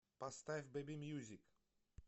поставь бэйби мьюзик